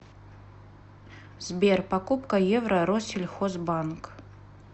сбер покупка евро россельхозбанк